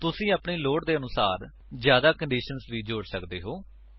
ਤੁਸੀ ਆਪਣੀ ਲੋੜ ਦੇ ਆਧਾਰ ਉੱਤੇ ਜਿਆਦਾ ਕੰਡੀਸ਼ੰਸ ਵੀ ਜੋੜ ਸੱਕਦੇ ਹੋ